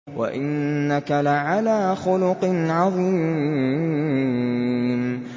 وَإِنَّكَ لَعَلَىٰ خُلُقٍ عَظِيمٍ